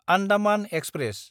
Andaman express